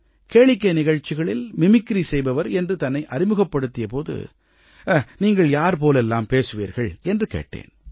கேளிக்கை நிகழ்ச்சிகளில் மிமிக்ரி செய்பவர் என்று தன்னை அறிமுகப்படுத்திய போது நீங்கள் யார் போலெல்லாம் பேசுவீர்கள் என்று கேட்டேன்